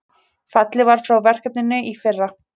Fallið var frá verkefninu í fyrra